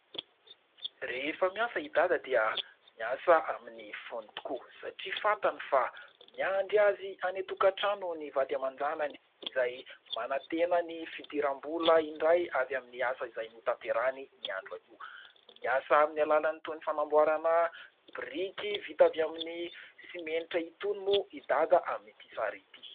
Rehefa miasa i Dada dia miasa amin'ny fony tokoa satria fantany fa miandry azy any an-tokatrano ny vady aman-janany ; izay manantena ny fidiram-bola indray avy amin'ny asa izay notanterahany ny andro anio. Miasa amin'ny alalany toy ny fanamboarana biriky vita avy amin'ny simenitra itony moa i Dada amin'ity sary ity.